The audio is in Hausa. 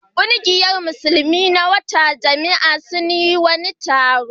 Ƙungiyar Musulmi na wata jami'a sun yi wani taro.